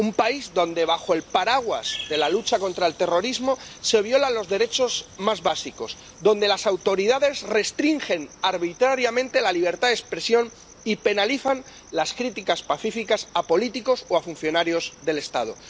Un país donde bajo el paraguas de la lucha contra el terrorismo se violan los derechos más básicos donde las autoridades restringen arbitrariamente la libertad de expresión y penalizan las críticas pacíficas a políticos o a funcionarios del Estado